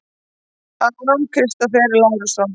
Aron Kristófer Lárusson